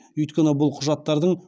өйткені бұл құжаттардың